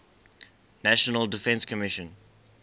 national defense commission